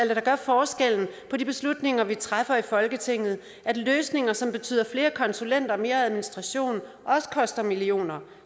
det der gør forskellen på de beslutninger vi træffer i folketinget at løsninger som betyder flere konsulenter og mere administration også koster millioner